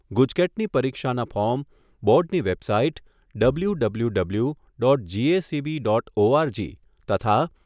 ગુજકેટની પરીક્ષાના ફોર્મ બોર્ડની website W W W dot GSEB dot ORG તથા